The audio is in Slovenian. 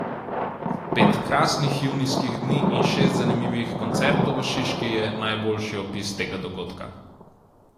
Pet krasnih junijskih dni in šest zanimivih koncertov v Šiški je najboljši opis tega dogodka.